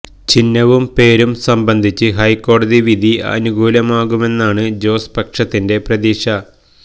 ചിഹ്നവും പേരും സംബന്ധിച്ച് ഹൈക്കോടതി വിധി അനുകൂലമാകുമെന്നാണ് ജോസ് പക്ഷത്തിൻറെ പ്രതീക്ഷ